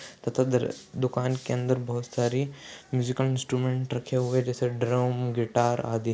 तथा दर दुकान के अंदर बहुत सारी म्यूज़िकल इन्स्ट्रुमेंट रखे हुए जैसे ड्रम गिटार आदि।